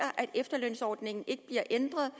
efterlønsordningen ikke bliver ændret